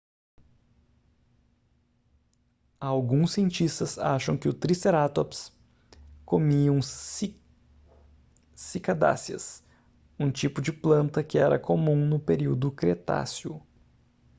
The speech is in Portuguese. alguns cientistas acham que os tricerátops comiam cicadáceas um tipo de planta que era comum no período cretáceo